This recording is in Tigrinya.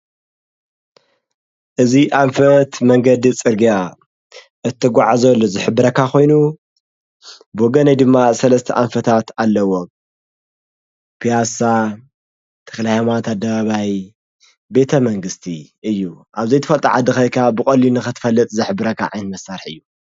እዝ ኣንፈት መንገዲ ጽርጋያ እትጐዕ ዘሎ ዘኅብረካ ኾይኑ ብወገነይ ድማ ሠለስተ ኣንፈታት ኣለዎ ፍያሳ ተኽላይማት ኣደባባይ ቤተ መንግሥቲ እዩ ኣብዘይትፈጥዓ ድኸይካ ብቖሊ ነኽትፈለጥ ዘኅብረካ ዓን መሣርሕ እዩ።